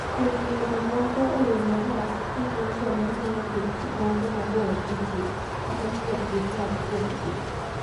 Kuom miyo jomoko oyie e yo marach ni gin joma ng’iyo gik moko mabor gi ji kata ni ok gipar kuomgi.